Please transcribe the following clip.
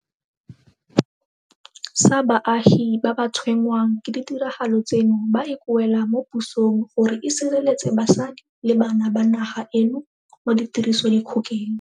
Sa baagi ba ba tshwenngwang ke ditiragalo tseno ba ikuela mo pusong gore e sireletse basadi le bana ba naga eno mo tirisodikgokeng.